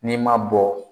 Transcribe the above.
N'i ma bɔ